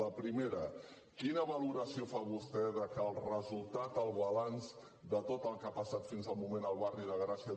la primera quina valoració fa vostè que el resultat el balanç de tot el que ha passat fins al moment al barri de gràcia